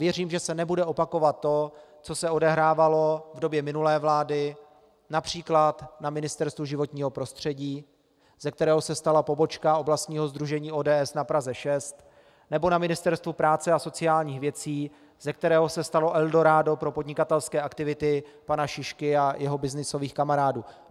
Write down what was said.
Věřím, že se nebude opakovat to, co se odehrávalo v době minulé vlády například na Ministerstvu životního prostředí, ze kterého se stala pobočka oblastního sdružení ODS na Praze 6, nebo na Ministerstvu práce a sociálních věcí, ze kterého se stalo eldorádo pro podnikatelské aktivity pana Šišky a jeho byznysových kamarádů.